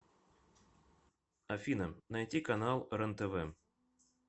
афина найти канал рентв